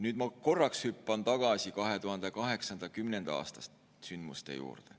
Nüüd ma korraks hüppan tagasi 2008.–2010. aasta sündmuste juurde.